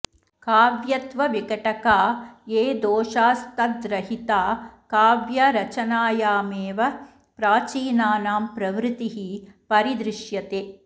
काव्यत्वविघटका ये दोषास्तद्रहिता काव्यरचनायामेव प्राचीनानां प्रवृतिः परि दृश्यते